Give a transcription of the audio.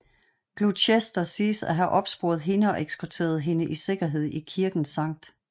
Gloucester siges at have opsporet hende og eskorteret hende i sikkerhed i kirken St